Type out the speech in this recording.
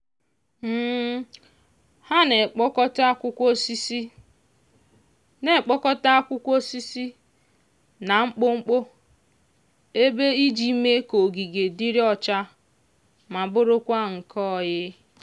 ha na-ekpokota akwụkwọ osisi na-ekpokota akwụkwọ osisi na mkpọmkpọ ebe iji mee ka ogige dịrị ọcha ma bụrụkwa nke ọyị.